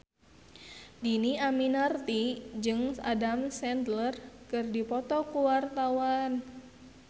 Dhini Aminarti jeung Adam Sandler keur dipoto ku wartawan